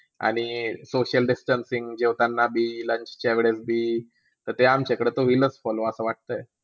आणि social distancing जेवताना बी launch वेडस बी वेळीसबी तर ते आमच्याकडे होईलच follow असं वाटतंय